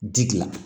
Ji dilan